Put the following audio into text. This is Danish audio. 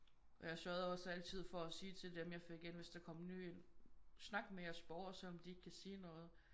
Og jeg sørgede også altid for at sige til dem jeg fik ind hvis der kom en ny ind: Snak med jeres borgere selv om de ikke kan sige noget